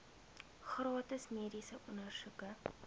gratis mediese ondersoeke